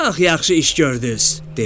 “Çox yaxşı iş gördüz!” dedi.